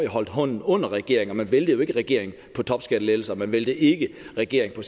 holdt hånden under regeringen og man væltede ikke regeringen på topskattelettelser og man væltede ikke regeringen